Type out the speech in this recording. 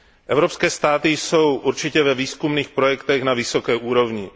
Evropské státy jsou určitě ve výzkumných projektech na vysoké úrovni.